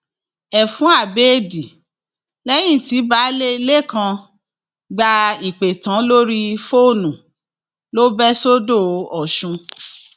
ẹfun abẹẹdì lẹyìn tí baálé ilé kan gba ìpè tán lórí fóònù ló bẹ sọdọ ọsùn